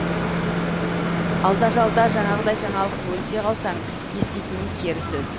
алда жалда жаңағыдай жаңалық бөлісе қалсаң еститінің кері сөз